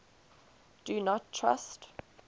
do not trust